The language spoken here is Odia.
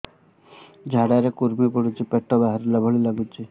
ଝାଡା ରେ କୁର୍ମି ପଡୁଛି ପେଟ ବାହାରିଲା ଭଳିଆ ଲାଗୁଚି